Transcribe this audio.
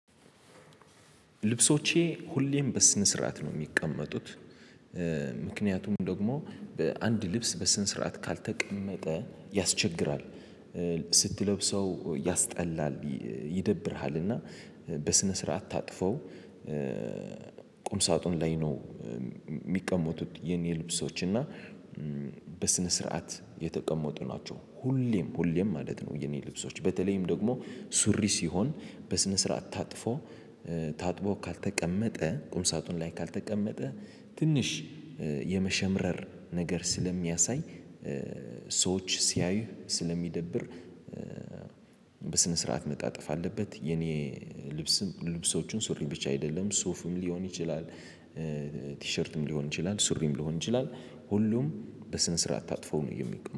ልብሶቼ ሁሌም በስነስርዓት ነው ሚቀመጡት። ምክንያቱም ደግሞ አንድ ልብስ በስነስርዓት ካልተቀመጠ ያስቸግራል ስትለብሰው ያስጠላል ይደብርሃልና በስነ ስርዓት ታጥፈው ቁም ሳጥኑ ላይ ነው። ሚቀመጡት የኔ ልብሶች እና በስነስርዓት የተቀመጡ ናቸው ሁሌም ሁሌም ማለት ነው። የኔ ልብሶች በተለይም ደግሞ ሱሪ ሲሆን በስነ ስርዓት ታጥፎ ታጥቦ ካልተቀመጠ ቁም ሳጥን ላይ ካልተቀመጠ ትንሽ የመሸምረር ነገር ስለሚያሳይ ሰዎች ሲያዩ ስለሚደብር በስነስርዓት መጣጠፍ አለበት። የኔ ልብስም ልብሶቹን ሱሪ ብቻ አይደለም ሱፍም ሊሆን ይችላል። ቲሸርትም ሊሆን ይችላል ሱሪም ሊሆን ይችላል ሁሉም በስነስርዓት ታጥፎ ነው የሚቀመጥ